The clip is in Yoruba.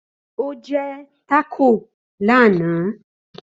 Ó jẹ́ tákò lánàá